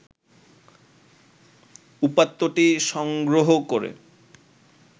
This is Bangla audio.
উপাত্তটি সংগ্রহ করে